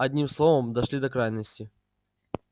одним словом дошли до крайности